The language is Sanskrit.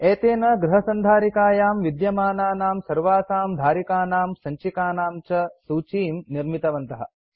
एतेन गृह सन्धारिकायां विद्यमानानां सर्वासां धारिकानां सञ्चिकानां च सूचीं निर्मितवन्तः